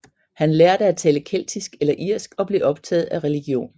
Han lærte at tale keltisk eller irsk og blev optaget af religion